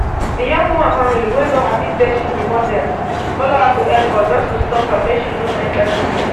di young woman family wey no happy say she be model follow her to airport just to stop her make she no enta di plane